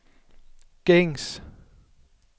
gængs